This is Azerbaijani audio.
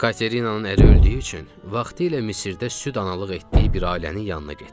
Katerinanın əri öldüyü üçün vaxtilə Misirdə süd analığı etdiyi bir ailənin yanına getdi.